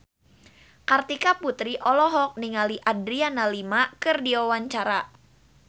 Kartika Putri olohok ningali Adriana Lima keur diwawancara